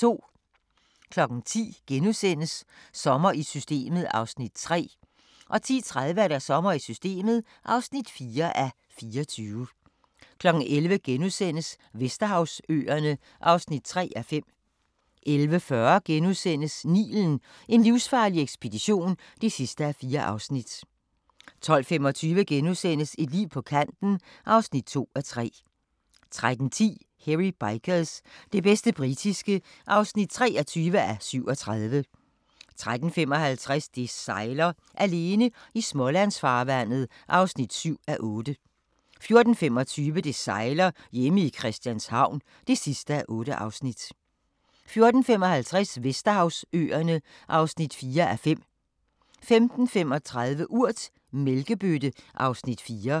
10:00: Sommer i Systemet (3:24)* 10:30: Sommer i Systemet (4:24) 11:00: Vesterhavsøerne (3:5)* 11:40: Nilen: en livsfarlig ekspedition (4:4)* 12:25: Et liv på kanten (2:3)* 13:10: Hairy Bikers – det bedste britiske (23:37) 13:55: Det sejler - alene i Smålandsfarvandet (7:8) 14:25: Det sejler - hjemme i Christianshavn (8:8) 14:55: Vesterhavsøerne (4:5) 15:35: Urt: Mælkebøtte (Afs. 4)